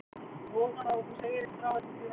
Ég vona þá að þú segir ekki frá öllu því versta.